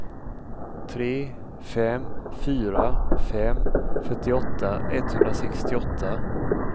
tre fem fyra fem fyrtioåtta etthundrasextioåtta